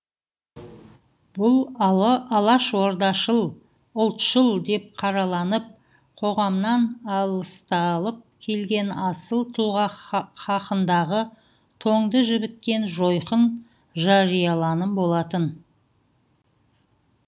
бұл алашордашыл ұлтшыл деп қараланып қоғамнан аласталып келген асыл тұлға хақындағы тоңды жібіткен жойқын жарияланым болатын